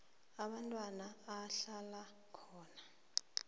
umntwana ahlala khona